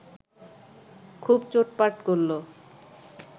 খুব চোটপাট করল